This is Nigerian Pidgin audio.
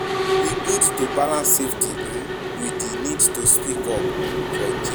E good to balance safety um wit di need to speak up um for change. um